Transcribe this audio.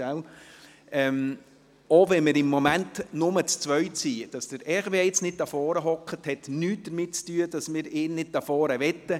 Selbst wenn wir im Moment nur zu zweit sind: Dass Hervé Gullotti jetzt nicht vorne sitzt, heisst nicht, dass wir ihn nicht hier vorne haben möchten.